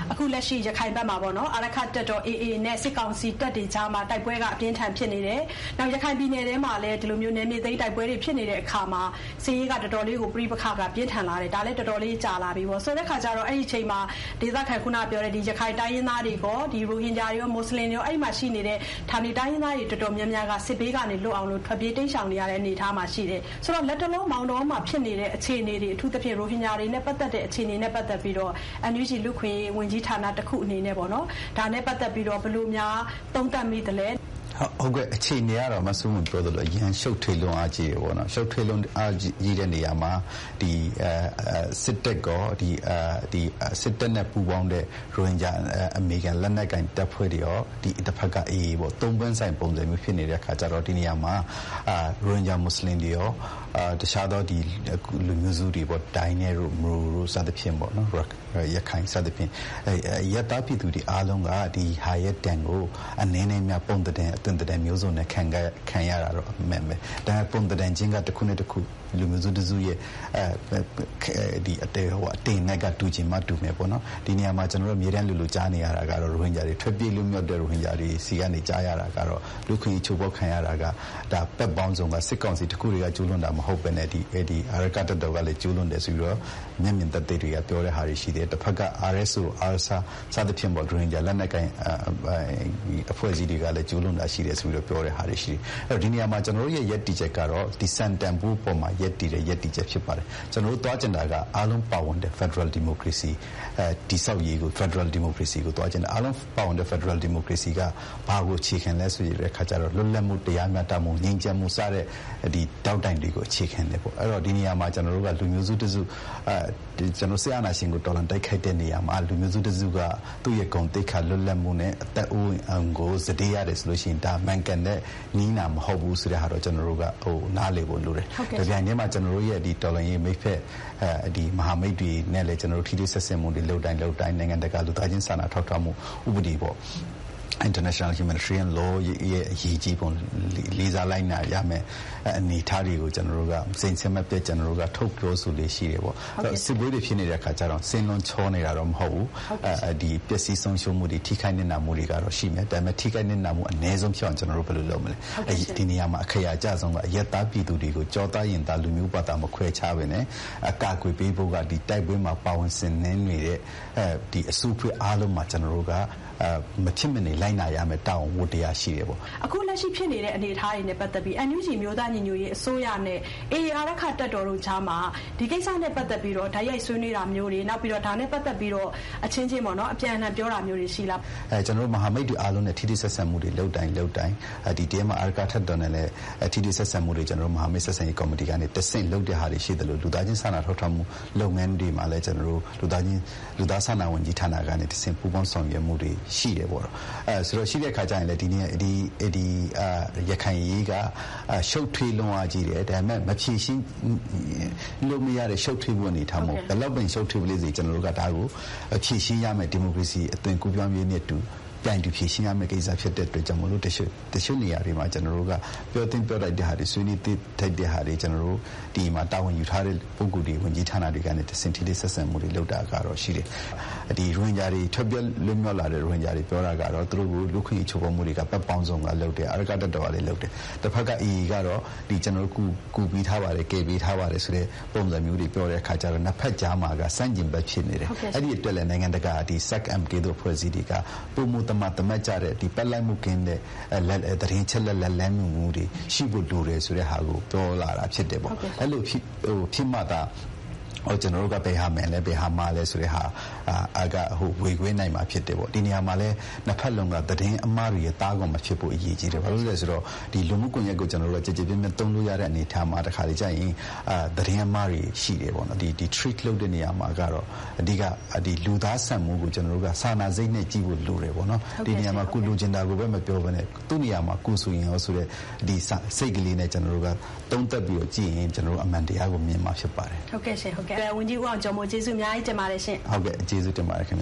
အခုလက်ရှိ ရခိုင်ဘက်မှာ အာရက္ခတပ်တော် AA နဲ့ စစ်ကောင်စီတပ်တွေကြားမှာ တိုက်ပွဲက အပြင်းအထန်ဖြစ်နေတယ်။ နောက် ရခိုင်ပြည်နယ်ထဲမှာလည်း နယ်မြေသိမ်းတိုက်ပွဲတွေဖြစ်နေတဲ့အခါမှာ စစ်ရေးက တော်တော်လေးကို - ပဋိပက္ခက ပြင်းထန်လာတယ်။ ဒါလည်း တော်တော်လေး ကြာလာပြီပေါ့။ ဆိုတဲ့အခါကျတော့ အဲဒီ အချိန်မှာ ခုနကပြောတဲ့ ဒေသခံ - အဲဒီ ရခိုင်တိုင်းရင်းသားတွေကော ရိုဟင်ဂျာတွေရော၊ မွတ်ဆလင်တွေရာ အဲဒီမှာရှိနေတဲ့ ဌာနေတိုင်းရင်းသားတွေ တော်တော်များများက စစ်ဘေးကနေလွတ်အောင်လို့ ထွက်ပြေးတိမ်းရှောင်နေရတဲ့အနေအထားမှာရှိတယ်။ ဆိုတော့ လတ်တလော မောင်တောများဖြစ်နေတဲ့အခြေအနေတွေ၊ အထူးသဖြင့် ရိုဟင်ဂျာတွေနဲ့ပတ်သက်တဲ့အခြေအနေတွေတွေနဲ့ပတ်သက်ပြီးတော့ NUG လူ့အခွင့်အရေးဝန်ကြီးဌာနတခုအနေနဲ့ ဒါနဲ့ပတ်သက်ပြီးတော့ ဘယ်လိုများ သုံးသပ်မိသလဲ။ ဟုတ်ကဲ့၊ အခြေအနေကတော့ မဆုမွန်ပြောသလိုပဲ အရမ်းရှုပ်ထွေးတယ်။ ရှုပ်ထွေးလွန်းအားကြီးတဲ့နေရာမှာ စစ်တပ်ကော စစ်တပ်နဲ့ပူးပေါင်းတဲ့ ရိုဟင်ဂျာအမည်ခံ လက်နက်ကိုင်တပ်ဖွဲ့တွေကော၊ တဖက်က AA ပေါ့၊ သုံးပွင့်ဆိုင်ပုံစမျိုးဖြစ်နေတဲ့ အခါကျတော့ ဒီနေရာမှာ ရိုဟင်ဂျာမွတ်ဆလင်တွေရော တခြားသော လူမျိုးစုတွေပေါ့၊ ဒိုင်းနက်တို့၊ မရို တို့ စသဖြင့်- ရခိုင်စသဖြင့် အရပ်သားပြည်သူတွေအားလုံးက ဒီဟာရဲ့ဒဏ်ကို အနည်းနဲ့အများ ပုံသဏ္ဍန် အသွင်သဏ္ဍန်မျိုးစုံနဲ့ခံရတာတော့ အမှန်ပဲ။ ဒါပေမဲ့ ပုံသဏ္ဍန်ချင်းက တခုနဲ့တခု လူမျိုးတစုနဲ့တစုရဲ့ အတိမ်အနက်က တူချင်မှတူမယ်ပေါ့နော်။ ဒီနေရာမှာ ကျနော်တို့ အမြဲတမ်းလိုလို ကြားနေရတာကတော့ ထွက်ပြေးလွတ်မြောက်တဲ့ရိုဟင်ဂျာတွေဆီကနေ ကြားရတာကတော့ လူ့အခွင့်အရေး ချိုးဖောက်ခံရတာက - တပ်ပေါင်းစုံက - စစ်ကောင်စီတခုတည်းကကျူးလွန်တာမဟုတ်ဘဲနဲ့ အာရက္ခတပ်တော်ကလည်း ကျူးလွန်တယ်ဆိုပြီးတော့ မျက်မြင်သက်သေတွေက ပြောတဲ့ဟာတွေရှိတယ်၊ တဘက်က RSO, ARSA စသဖြင့် ရိုဟင်ဂျာလက်နက်ကိုင်အဖွဲ့အစည်းတွေကလည်း ကျူးလွန်တာရှိတယ်ဆိုပြီးတော့ ပြောတဲ့ဟာတွေရှိတယ်။ ဒီနေရာမှာ ကျနော်တို့ရဲ့ရပ်တည်ချက်ကတော့ ဒီ စံတန်ဖိုးအပေါ်မှာရပ်တည်တဲ့ ရပ်တည်ချက်ဖြစ်ပါတယ်။ ကျနော်တို့သွားချင်တာက အားလုံးပါဝင်တဲ့ ဖက်ဒရယ်ဒီမိုကရေစီတည်ဆောက်ရေးကို၊ ဖက်ဒရယ်ဒီမိုကရေစီကို သွားချင်တာ။ အားလုံးပါဝင်တဲ့ဖက်ဒရယ်ဒီမိုကရေစီက ဘာကိုအခြေခံလဲဆိုတဲ့အခါကျတော့ လွတ်လပ်မှု၊ တရားမျှတမှု၊ ငြိမ်းချမ်းမှု စတဲ့ ဒေါက်တိုင်တွေကိုအခြေခံတယ်ပေါ့၊ အဲဒီတော့ ဒီနေရာမှာ ကျနော်တို့က လူမျိုးစုတစုက စစ်အာဏာရှင်ကို တော်လှန်တိုက်ခိုက်တဲ့နေရာမှာ လူမျိုးစုတစုက သူ့ရဲ့ဂုဏ်သိက္ခာ၊ လွတ်လပ်မှုနဲ့အသက်အိုးအိမ်ကို စတေးရတယ်ဆိုရင် ဒါမှန်ကန်တဲ့နည်းနာမဟုတ်ဘူးဆိုတာကို ကျနော်တို့ နားလည်ဖို့လိုတယ်။ တပြိုင်တည်းမှာ ကျနော်တို့ရဲ့တော်လှန်ရေးမိတ်ဖက် မဟာမိတ်တွေနဲ့လည်း ထိတွေ့ဆက်ဆံမှုတွေ လုပ်တိုင်း လုပ်တိုင်း၊ နိုင်ငံတကာ လူသားချင်းစာနာထောက်ထားမှု ဥပဒေပေါ့- international humanitarian law ရဲ့အရေးကြီးပုံ၊ လေးစားလိုက်နာရမယ့် အနေအထားတွေကို ကျနော်တို့က စဥ်ဆက်မပြတ် ထုတ်ပြောဆိုလေ့ရှိတယ်ပေါ့။ စစ်ပွဲတွေဖြစ်နေတဲ့အခါကျတော့ စင်းလုံးချောနေတာတော့ မဟုတ်ဘူး၊ ပျက်စီးဆုံးရှုံးမှုတွေ၊ ထိခိုက်နစ်နာမှုတွေကတော့ ရှိနေတယ်။ ဒါပေမဲ့ ထိခိုက်နစ်နာမှုအနည်းဆုံးဖြစ်အောင် ဘယ်လိုလုပ်မလဲ၊ ဒီနေရာမှာ အခရာအကျဆုံးက အရပ်သားပြည်သူတွေကို ကျောသားရင်သား လူမျိုးဘာသာမခွဲခြားဘဲနဲ့အကာအကွယ်ပေးဖို့က တိုက်ပွဲမှာ ပါဝင်ဆင်နွဲနေတဲ့ အစုအဖွဲ့အားလုံးမှာ မဖြစ်မနေ လိုက်နာရမယ့် တာဝန်ဝတ္တရားရှိတယ်ပေါ့။” အခု လက်ရှိဖြစ်နေတဲ့အနေအထားတွေနဲ့ပတ်သက်ပြီး NUG အမျိုးသားညီညွတ်ရေးအစိုးရနဲ့ AA အာရက္ခတပ်တို့ကြားမှာ ဒီကိစ္စနဲ့ပတ်သက်ပြီးတော့ တိုက်ရိုက်ဆွေးနွေးတာမျိုးတွေ၊ နောက်ပြီးတော့ ဒါ နဲ့ပတ်သက်ပြီး အချင်းချင်း အပြန်အလှန် ပြောတာမျိုးတွေ ရှိလား။ ကျနော်တို့ မဟာမိတ်တွေအားလုံးနဲ့ ထိတွေ့ဆက်ဆံမှုတွေ လုပ်တိုင်းလုပ်တိုင်း ဒီထဲမှာ အာရက္ခတပ်တော်နဲ့လည်း ထိတွေ့ဆက်ဆံမှုတွေ မဟာမိတ်ဆက်ဆံရေးကော်မတီကနေတဆင့် လုပ်တဲ့ဟာတွေရှိသလို လူသားချင်းစာနာထောက်ထားမှု လုပ်ငန်းတွေမှာလည်း ကျနော်တို့ လူသားစာနာမှု ဝန်ကြီးဌာနကနေ ပူးပေါင်းဆောင်ရွက်မှုတွေ ရှိတယ်ပေါ့။ ရှိတဲ့အခါကျရင် ဒီ ရခိုင်အရေးက ရှုပ်ထွေးလွန်းအားကြီးတယ်၊ ဒါပေမဲ့ဘယ်လောက်ပင် ရှုပ်ထွေးပလေစေ၊ ဒါကို ကျနော်တို့က ဒီမိုကရေစီအသွင်ကူးပြောင်းရေးနဲ့အတူ ပြိုင်တူဖြေရှင်းရမယ့်ကိစ္စ ဖြစ်တာကြောင့်မို့လို့ ကျနော်တို့က တချို့နေရာတွေမှာ ပြောသင့်ပြောထိုက်တဲ့ဟာတွေ၊ ဆွေးနွေးသင့် ဆွေးနွေးထိုက်တဲ့ဟာတွေကို ကျနော်တို့ ဒီမှာ တာဝန်ယူထားတဲ့ ဝန်ကြီးဌာနက ပုဂ္ဂိုလ်တွေကနေတဆင့် ထိတွေ့ဆက်ဆံမှုတွေလုပ်တာကတော့ ရှိတယ်။ ထွက်ပြေးလွတ်မြောက်လာတဲ့ရိုဟင်ဂျာတွေ ပြောတာက သူတို့ကို လူ့အခွင့်အရေး ချိုးဖောက်မှုတွေက ဘက်ပေါင်းစုံကလုပ်တယ်။ အာရက္ခတပ်တော်ကလည်း လုပ်တယ်။ တဘက်က AA ကတော့ ‘ကျနော်တို့ ကူပေးထားပါတယ်၊ ကယ်ပေးထားပါတဘ်’ ဆိုတဲ့ပုံစံမျိုးတွေ ပြောတဲ့အခါကျတော့ နှစ်ဘက်ကြားမှာက ဆန့်ကျင်ဘက် ဖြစ်နေတယ်၊ အဲဒီအတွက်လည်း နိုင်ငံတကာ အဖွဲ့အစည်းတွေက ပိုမိုသမာသမတ်ကျတဲ့၊ ဘက်လိုက်မှုကင်းတဲ့ သတင်းအချက်အလက်၊ လမ်းညွှန်မှုတွေ ရှိဖို့လိုတယ်ဆိုတဲ့ဟာကို ပြောလာတာဖြစ်တယ်ပေါ့။ အဲလို ဖြစ်မှသာ ကျနော်တို့က ဘယ်ဟာမှန်လဲ၊ ဘယ်ဟာမှားလဲဆိုတာ ဝေခွဲနိုင်မှာဖြစ်တယ်ပေါ့။ ဒီ နေရာမှာလည်း နှစ်ဘက်လုံးက သတင်းအမှားတွေရဲ့သားကောင်မဖြစ်ဖို့ အရေးကြီးတယ်။ ဘာဖြစ်လို့လဲဆို လူမှုကွန်ရက်ကို ကျနော်တို့က ကျယ်ကျယ်ပြန့်ပြန့်သုံးလို့ရတဲ့အနေအထားမှာ တခါတလေကျရင် သတင်းအမှားတွေရှိတယ်ပေါ့။ ဒီ treat လုပ်တဲ့အခါမှာကတော့ အဓိက လူသားဆန်မှုကို ကျနော်တို့က စာနာစိတ်နဲ့ကြည့်ဖို့ လိုတယ်ပေါ့နော်။ ဒီနေရာမှာ ကိုယ်လိုချင်တာကိုပဲ မပြောဘဲနဲ့ သူ့နေရာမှာ ကိုယ်ဆိုရင်ရော ဆိုတဲ့ စိတ်ကလေးနဲ့ ကျနော်တို့က သုံးသပ်ပြီးတော့ကြည့်ရင် ကျနော်တို့ အမှန်တရားကို မြင်မှာ ဖြစ်ပါတယ်။ ဟုတ်ကဲ့ရှင့်၊ ဟုတ်ကဲ့။ ဝန်ကြီး ဦးအောင်ကျော်မိုး ကျေးဇူးအများကြီးတင်ပါတယ်။ ဟုတ်ကဲ့၊ ကျေးဇူးတင်ပါတယ်ခင်ဗ